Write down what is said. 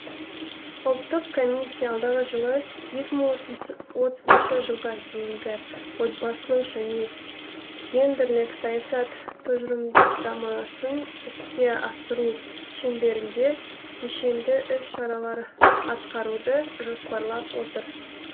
ұлттық комиссия алдағы жылы екі мың отызыншы жылға дейінгі отбасылық және гендерлік саясат тұжырымдамасын іске асыру шеңберінде кешенді іс шаралар атқаруды жоспарлап отыр